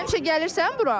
Həmişə gəlirsən bura?